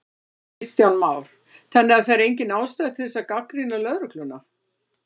Kristján Már: Þannig að það er engin ástæða til þess að gagnrýna lögregluna?